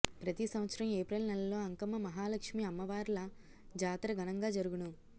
ప్రతీ సంవత్సరం ఏప్రిల్ నెలలో అంకమ్మ మహాలక్ష్మీ అమ్మవార్ల జాతర ఘనంగా జరుగును